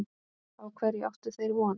Á hverju áttu þeir von?